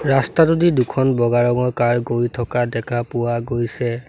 ৰাস্তাটোদি দুখন বগা ৰঙৰ কাৰ গৈ থকা দেখা পোৱা গৈছে।